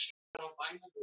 Sám brott frá bæjarhúsum.